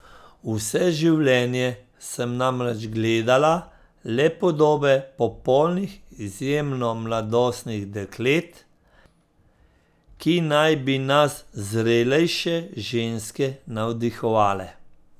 Vse življenje sem namreč gledala le podobe popolnih, izjemno mladostnih deklet, ki naj bi nas, zrelejše ženske, navdihovale.